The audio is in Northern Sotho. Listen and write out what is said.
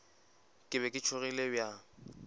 ke be ke tšhogile bjang